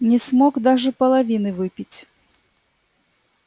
не смог даже половины выпить